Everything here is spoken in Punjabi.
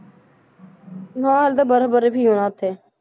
ਹਾਂ ਹਾਲੇ ਤਾਂ ਬਰਫ਼ ਬਰਫ਼ ਹੀ ਹੋਣਾ ਉੱਥੇ,